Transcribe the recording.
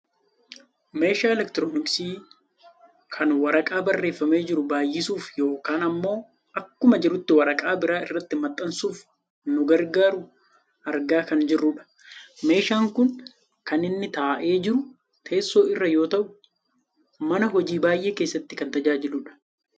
Meeshaa elektirooniksi kan waraqaa barreefamee jiru baayisuuf yookaan ammoo akkuma jirutti waraqaa biraa irratti maxxansuuf nu gargaaru argaa kan jirrudha. Meeshaan kun kan inni taa'ee jiru teesso irra yoo ta'u, mana hojii baayyee keessatti kan tajaajiludha.